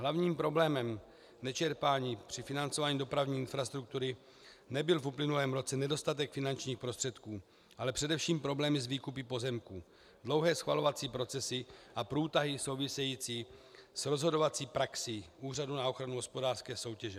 Hlavním problémem nečerpání při financování dopravní infrastruktury nebyl v uplynulém roce nedostatek finančních prostředků, ale především problém s výkupy pozemků, dlouhé schvalovací procesy a průtahy související s rozhodovací praxí Úřadu na ochranu hospodářské soutěže.